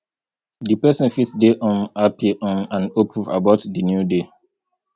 di person fit dey um happy um and hopeful about di new day